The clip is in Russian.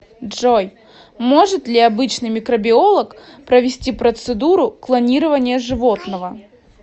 джой может ли обычный микробиолог провести процедуру клонирования животного